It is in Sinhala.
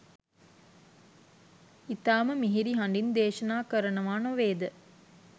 ඉතාම මිහිරි හඬින් දේශනා කරනවා නොවේද?